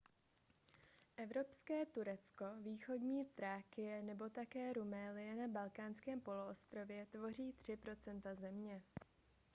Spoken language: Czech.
evropské turecko východní thrákie nebo také rumélie na balkánském poloostrově tvoří 3 % země